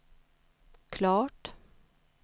klart